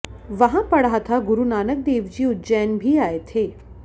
वहां पढ़ा था गुरु नानकदेवजी उज्जैन भी आए थे